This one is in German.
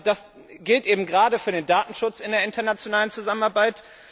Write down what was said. Das gilt gerade für den Datenschutz in der internationalen Zusammenarbeit.